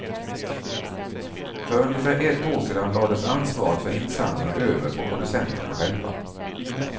För ungefär ett år sedan lades ansvaret för insamlingen över på producenterna själva.